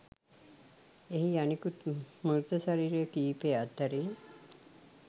එහි අනෙකුත් මෘත ශරීර කීපය අතුරින්